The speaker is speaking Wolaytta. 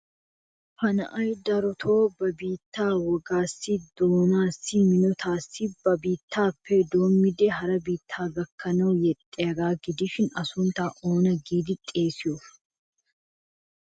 Ha na'ay darotoo ba biittaa wogaassi, doonaassi minotettaassi ba biittaappe doommidi hara biittaa gakkanawu yexxiyagaa gidishin A sunttaa oona giidi xeesiyo?